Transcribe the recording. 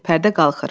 Pərdə qalxır.